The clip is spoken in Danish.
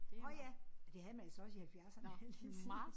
Nåh ja det havde man jo så også i halvfjerdserne vil jeg lige sige